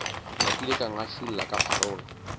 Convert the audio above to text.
napile ka ngašula ka pharola